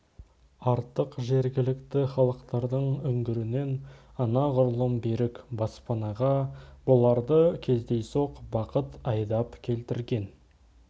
артық жергілікті халықтардың үңгірінен анағұрлым берік баспанаға бұларды кездейсоқ бақыт айдап келтірген